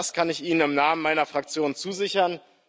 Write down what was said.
Das kann ich Ihnen im Namen meiner Fraktion zusichern.